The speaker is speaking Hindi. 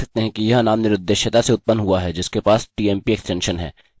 आप देख सकते हैं यह नाम निरुद्देश्यता से उत्पन्न हुआ है जिसके पास tmp एक्स्टेंशन है